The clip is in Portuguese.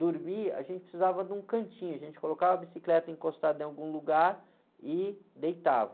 Dormir, a gente precisava de um cantinho, a gente colocava a bicicleta encostada em algum lugar e deitava.